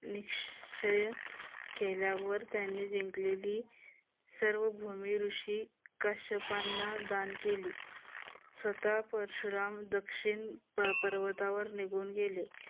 निश्चय केल्यावर त्यांनी जिंकलेली सर्व भूमी ऋषी काश्यपांना दान केली. स्वतः परशुराम दक्षिण पर्वतावर निघून गेले.